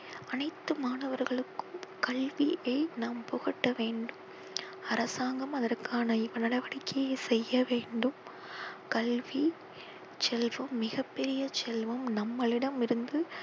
அனைத்து மாணவர்களுக்கும் கல்வியை நாம் புகட்ட வேண்டும். அரசாங்கம் அதற்கான நடவடிக்கையை செய்ய வேண்டும். கல்வ செல்வம் மிக பெரிய செல்வம். நம்மளிடமிருந்து